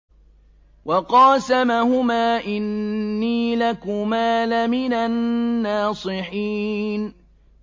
وَقَاسَمَهُمَا إِنِّي لَكُمَا لَمِنَ النَّاصِحِينَ